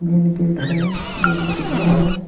Main gate हैं जो बहुत बड़ा है।